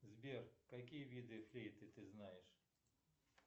сбер какие виды флейты ты знаешь